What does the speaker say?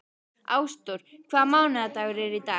Ásdór, hvaða mánaðardagur er í dag?